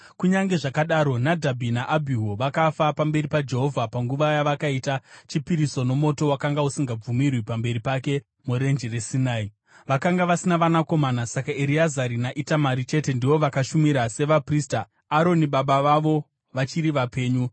Kunyange zvakadaro, Nadhabhi naAbhihu, vakafa pamberi paJehovha panguva yavakaita chipiriso nomoto wakanga usingabvumirwi pamberi pake muRenje reSinai. Vakanga vasina vanakomana; saka Ereazari naItamari chete ndivo vakashumira sevaprista, Aroni baba vavo vachiri vapenyu.